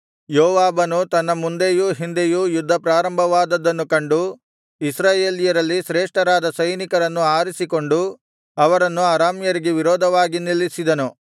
ಯೋವಾಬನು ತನ್ನ ಮುಂದೆಯೂ ಹಿಂದೆಯೂ ಯುದ್ಧ ಪ್ರಾರಂಭವಾದದ್ದನ್ನು ಕಂಡು ಇಸ್ರಾಯೇಲ್ಯರಲ್ಲಿ ಶ್ರೇಷ್ಠರಾದ ಸೈನಿಕರನ್ನು ಆರಿಸಿಕೊಂಡು ಅವರನ್ನು ಅರಾಮ್ಯರಿಗೆ ವಿರೋಧವಾಗಿ ನಿಲ್ಲಿಸಿದನು